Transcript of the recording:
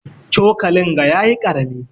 Cokalin ga yayi karami.